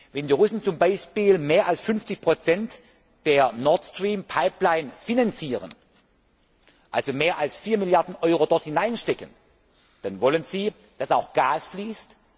Wenn die Russen zum Beispiel mehr als 50 der Nord Stream Pipeline finanzieren, also mehr als vier Milliarden Euro dort hineinstecken, dann wollen sie, dass auch Gas fließt.